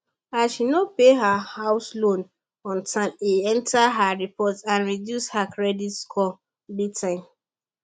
as she no pay her house loan on time e enter her report and reduce her credit scores big time